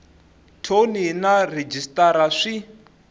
thoni na rhejisitara sw i